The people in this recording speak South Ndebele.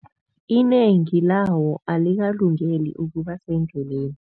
Inengi lawo alikalungeli ukuba sendleleni.